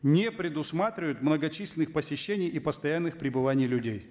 не предусматривают многочисленных посещений и постоянных пребываний людей